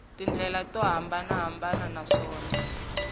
tindlela to hambanahambana naswona ya